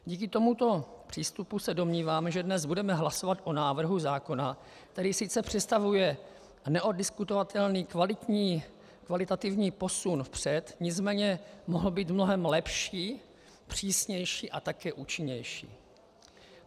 Díky tomuto přístupu se domnívám, že dnes budeme hlasovat o návrhu zákona, který sice představuje neoddiskutovatelný kvalitativní posun vpřed, nicméně mohl být mnohem lepší, přísnější a také účinnější.